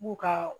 B'u ka